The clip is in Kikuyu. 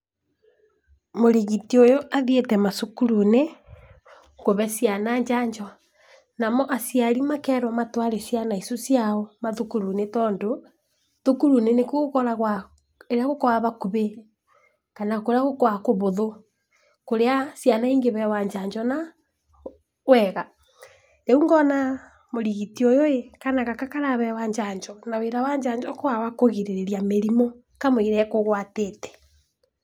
Mũrigiti ũyũ athiĩte macukuru-inĩ, kũhe ciana njanjo. Namo aciari makerwo matware ciana icio ciao mathukuru nĩ tondũ, thukuru nĩkuo gũkoragwo hakuhĩ, kana nĩkuo gũkoragwo kũhũthũ, kũrĩa ciana ĩ ngĩheo njanjo na wega. Rĩu ngona mũrigiti ũyu, kana gaka karaheywo njanjo, na wĩra wa njanjo nĩ kũgirĩrĩria mũrimũ ka mũira ĩ kũgwatĩte.